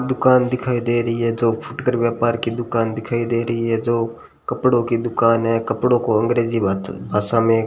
दुकान दिखाई दे रही है जो फुटकर व्यापार की दुकान दिखाई दे रही है जो कपड़ों की दुकान है कपड़ों को अंग्रेजी भाष भाषा में --